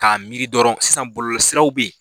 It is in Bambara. Ka miri dɔrɔn sisan bɔlɔlɔ siraw bɛ yen.